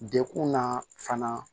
Dekun na fana